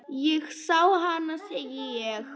Ég sá hana, segi ég.